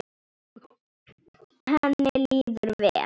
Henni líður vel?